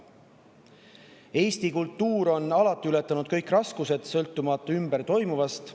Eesti kultuur on alati ületanud kõik raskused, sõltumata ümberringi toimuvast.